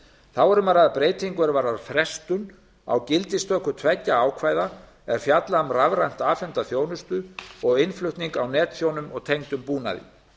þá er um að ræða breytingu er varðar frestun á gildistöku tveggja ákvæða er fjalla um rafrænt afhenta þjónustu og innflutning á netþjónum og tengdum búnaði